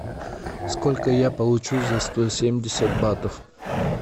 сколько я получу за сто семьдесят батов